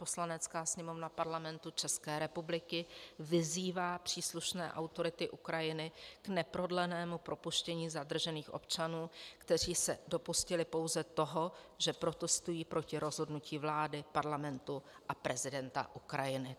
Poslanecká sněmovna Parlamentu České republiky vyzývá příslušné autority Ukrajiny k neprodlenému propuštění zadržených občanů, kteří se dopustili pouze toho, že protestují proti rozhodnutí vlády, parlamentu a prezidenta Ukrajiny.